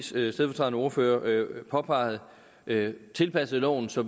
stedfortrædende ordfører påpegede det tilpasset loven så